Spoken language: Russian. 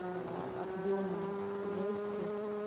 а объёма лёгких